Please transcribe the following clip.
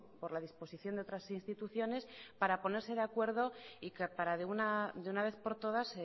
por la disposición de otras instituciones para ponerse de acuerdo y para de una vez por todas